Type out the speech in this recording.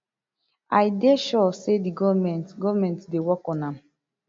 i dey sure say di goment goment dey work on am